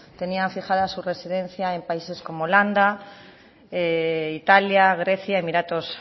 tenían fijada su residencia en países como holanda italia grecia emiratos